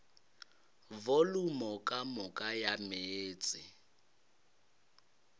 volumo ka moka ya meetse